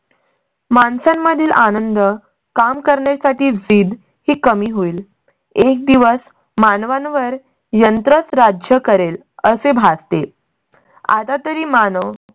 माणसां मधील आनंद काम करण्यासाठी जिद की कमी होईल. एक दिवस मानवांवर यंत्रच राज्य करेल असे भासते. आता तरी मानव